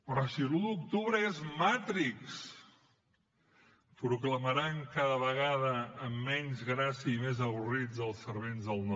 però si l’un d’octubre és matrix proclamaran cada vegada amb menys gràcia i més avorrits els servents del no